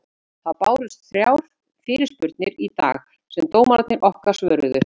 Það bárust þrjár fyrirspurnir í dag sem dómararnir okkar svöruðu.